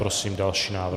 Prosím další návrh.